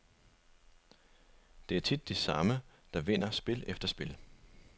Det er tit de samme, der vinder spil efter spil.